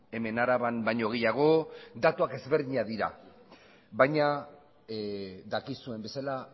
hemen araban baino gehiago datuak ezberdinak dira baina dakizuen bezala